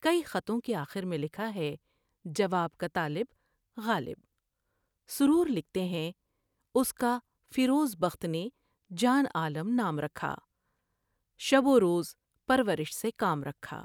کئی خطوں کے آخر میں لکھا ہے '' جواب کا طالب... غالب '' سرور لکھتے اس کا فیروز بخت نے جان عالم نام رکھا شب وروز پرورش سے کام رکھا ۔